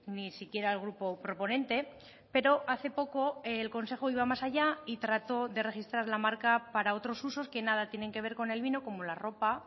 ni siquiera el grupo proponente pero hace poco el consejo iba más allá y trató de registrar la marca para otros usos que nada tienen que ver con el vino como la ropa